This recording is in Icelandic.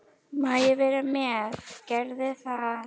Má ég vera með, gerðu það!